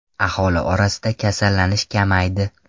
Aholi orasida kasallanish kamaydi.